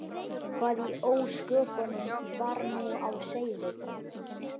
Hvað í ósköpunum var nú á seyði?